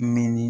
Nɛni